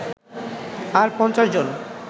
আর ৫০ জন